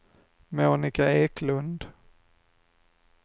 Monika Eklund